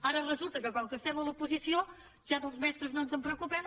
ara resulta que com que estem a l’oposició dels mestres ja no ens en preocupem